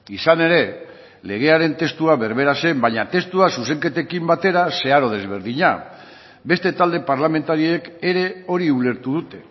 izan ere legearen testua berbera zen baina testua zuzenketekin batera zeharo desberdina beste talde parlamentariek ere hori ulertu dute